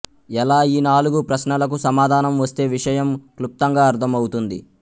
ఎలా ఈ నాలుగు ప్రశ్నలకు సమాధానం వస్తే విషయం క్లుప్తంగా అర్ధం అవుతుంది